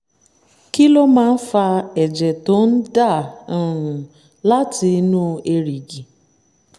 kí ló máa ń fa ẹ̀jẹ̀ tó ń ń dà um láti inú èrìgì?